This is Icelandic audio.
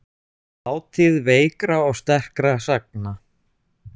Þátíð veikra og sterkra sagna.